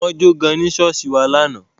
Wọ́n jo gan ní ṣọ́ọ̀ṣì wa lánàá.